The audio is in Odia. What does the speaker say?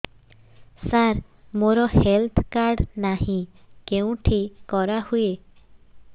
ସାର ମୋର ହେଲ୍ଥ କାର୍ଡ ନାହିଁ କେଉଁଠି କରା ହୁଏ